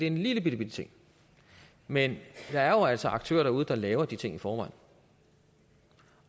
en lillebitte ting men der er jo altså aktører derude der laver de ting i forvejen